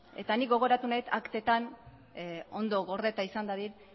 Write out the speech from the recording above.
eta ni gogoratu nahi dut aktetan ondo gordeta izan dadin